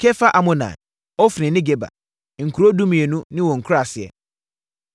Kefar-Amonai, Ofni ne Geba, nkuro dumienu ne wɔn nkuraaseɛ.